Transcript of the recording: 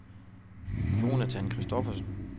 Jonathan Christoffersen